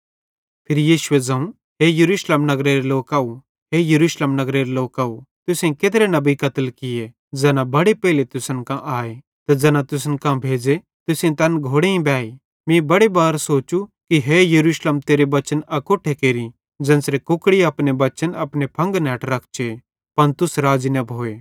फिरी यीशुए ज़ोवं हे यरूशलेम नगरेरे लोकव हे यरूशलेम नगरेरे लोकव तुसेईं केत्रे नबी कत्ल किये ज़ैना बड़े पेइले तुसन कां आए ते ज़ैना तुसन कां भेज़े तुसेईं तैन घोड़ेईं बेई मीं बड़े बार सोचू कि तेरे बच्चन अकोट्ठे केरि ज़ेन्च़रे कुकड़ी अपने बच्चन अपने फंगन हैठ रखचे पन तुस राज़ी न भोए